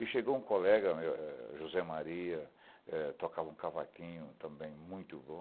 E chegou um colega meu, José Maria, tocava um cavaquinho também muito bom.